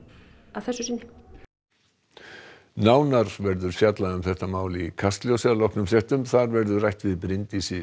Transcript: að þessu sinni og nánar verður fjallað um þetta mál í Kastljósi að loknum fréttum þar verður rætt við Bryndísi